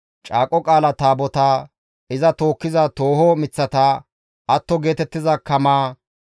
Caaqo Qaala Taabotaa, iza tookkiza tooho miththata, atto geetettiza kamaa,